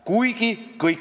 Minu eesti keel oli 3.